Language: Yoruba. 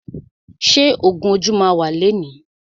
Ṣé ògún ojú ma wà lẹni?